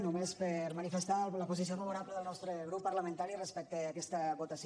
només per manifestar la posició favorable del nostre grup parlamentari respecte a aquesta votació